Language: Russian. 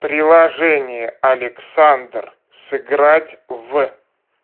приложение александр сыграть в